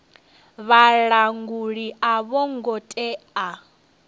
vhalanguli a vho ngo tea